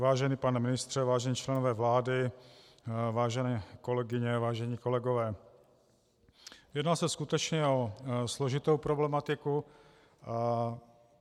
Vážený pane ministře, vážení členové vlády, vážené kolegyně, vážení kolegové, jedná se skutečně o složitou problematiku.